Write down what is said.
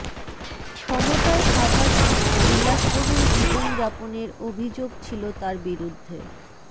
ক্ষমতায় থাকার সময় বিলাসবহুল জীবন যাপনের অভিযোগ ছিলো তার বিরুদ্ধে